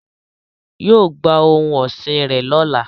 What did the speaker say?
yóò gba ohun ọsin rẹ lọla